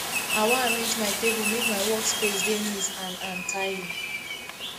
i wan arrange my table make my workspace dey neat and and tidy